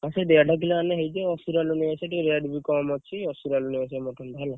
ହଁ ସେ ଦେଡ କିଲେ ଆଣିଲେ ହେଇଯିବ ଅସୁରାଳ ରୁ ନେଇଆସିବ ଟିକେ rate ବି କମ୍‌ ଅଛି, ସେଇ ଅସୁରାଲରୁ ନେଇ ଆସିବା mutton ଟା ହେଲା।